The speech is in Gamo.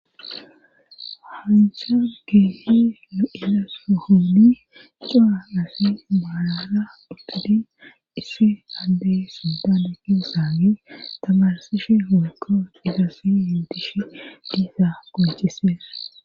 hansa keehi lo7ilaso honi caa asi maalara duddudin issi hande suddan ekkisaagi tamarsishe hoykko idasi yintishe diiza goncisen